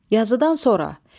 Yazıdan sonra.